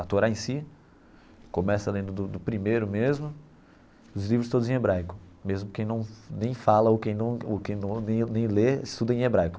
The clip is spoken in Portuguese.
A Torá em si, começa lendo do do primeiro mesmo, os livros todos em hebraico, mesmo quem não nem fala ou quem não ou quem não nem nem lê estuda em hebraico.